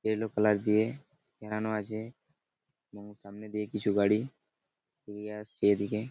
এ লোক লাগিয়ে আছে এবং সামনে দিয়ে কিছু গাড়ি এগিয়ে আসছে এদিকে ।